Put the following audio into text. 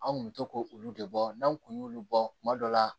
An kun bɛ to k'olu de bɔ n'anw kun y'olu bɔ kuma dɔw la